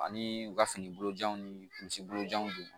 Ani u ka finibolo janw ni misi bojan d'u ma